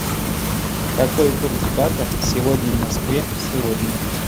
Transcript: какой курс бата сегодня в москве сегодня